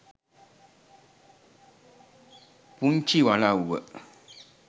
punchi walawwa